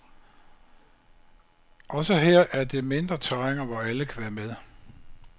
Også her er det mindre terræner, hvor alle kan være med.